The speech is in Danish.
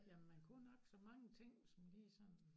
Jamen man kunne nok så mange ting som lige sådan